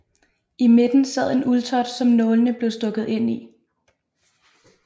I midten sad en uldtot som nålene blev stukket ind i